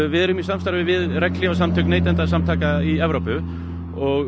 við erum í samstarfið við regnhlífasamtök neytenda í Evrópu og